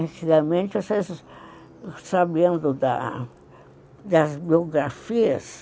Antigamente, sabendo da das biografias,